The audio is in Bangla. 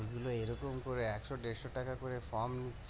এগুলো এরকম করে একশ দেড়শ টাকা করে ফর্ম